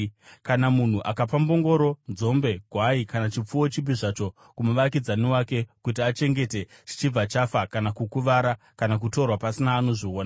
“Kana munhu akapa mbongoro, nzombe, gwai kana chipfuwo chipi zvacho kumuvakidzani wake kuti achengete chichibva chafa kana kukuvara kana kutorwa pasina anozviona,